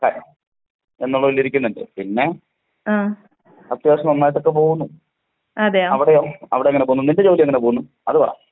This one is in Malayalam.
എന്നുള്ളത് വിചാരിക്കുന്നുണ്ട്. പിന്നെ അത്യാവിശ്യം നന്നായിട്ടൊക്കെ പോവുന്നു. അവിടെയോ? അവിടെ എങ്ങനെ പോവുന്നു നിന്റെ ജോലി എങ്ങനെ പോവുന്നു? അത് പറ.